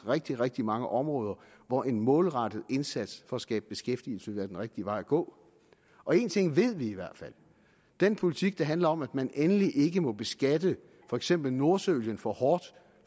rigtig rigtig mange områder hvor en målrettet indsats for at skabe beskæftigelse ville være den rigtige vej at gå og én ting ved vi i hvert fald den politik der handler om at man endelig ikke må beskatte for eksempel nordsøolien for hårdt